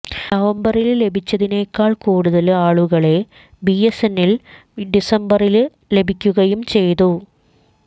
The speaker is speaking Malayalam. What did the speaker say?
നവംബറില് ലഭിച്ചതിനേക്കാള് കൂടുതല് ആളുകളെ ബിഎസ്എന്എലിന് ഡിസംബറില് ലഭിക്കുകയും ചെയ്തു